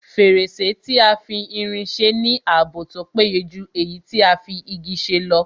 Fèrèsé tí a fi irin se ní ààbò tó péye jù èyí tí a fi Igi ṣe lọ